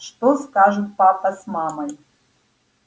что скажут папа с мамой